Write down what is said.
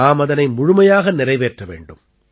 நாம் அதனை முழுமையாக நிறைவேற்ற வேண்டும்